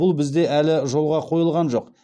бұл бізде әлі жолға қойылған жоқ